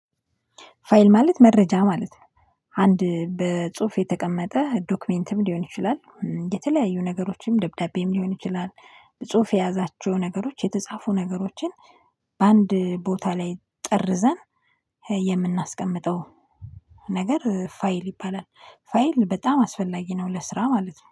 ፋይል ማለት መረጃ ማለት ነው። አንድ በጽሁፍ የተቀመጠ ዶክመንትም ሊሆን ይችላል የተለያዩ ነገሮችም ደብዳቤም ሊሆን ይችላል። ጽሁፍ የያዛቸው ነገሮች የተጻፉ ነገሮችን በአንድ ቦታ ላይ ጠርዘን የምናስቀምጠው ነገር ፋይል ይባላል። ፋይል በጣም አስፈላጊ ነው ለስራ ማለት ነው